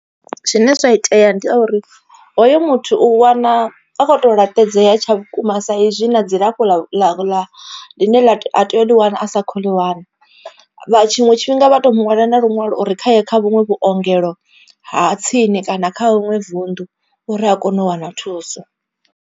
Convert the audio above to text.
Zwine zwa itea ndi a uri hoyo muthu u wana a kho to laṱedzea tsha vhukuma sa izwi na dzilafho ḽa ḽa ḽine a tea u ḽi wana a sa kho ḽi wana. Tshiṅwe tshifhinga vha to mu ṅwalela na luṅwalo uri khaye kha vhuṅwe vhuongelo ha tsini kana kha ḽiṅwe vuṋdu uri a kone u wana thuso.